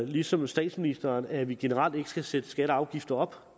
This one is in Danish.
ligesom statsministeren at vi generelt ikke skal sætte skatter og afgifter op